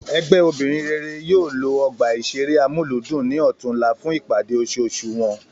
Ègbè obìnrin rere yóò lo ọgbà ìṣeré Amúlùúdùn ní ọ̀túnla fún ìpàdé oṣooṣù wọn